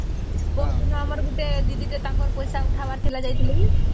ପରଦିନ ଆମର ଗୋଟେ ଦିଦି ଟେ ତାଙ୍କର ପଇସା ଉଥବାର ଥିଲା ତାଙ୍କର ଯାଇଥିଲୁ କି